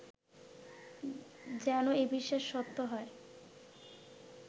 যেন এ বিশ্বাস সত্য হয়